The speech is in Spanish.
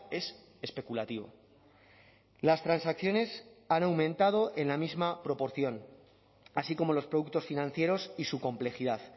es especulativo las transacciones han aumentado en la misma proporción así como los productos financieros y su complejidad